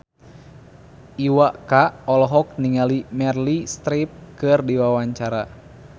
Iwa K olohok ningali Meryl Streep keur diwawancara